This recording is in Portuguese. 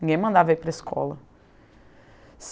Ninguém mandava ir para a escola.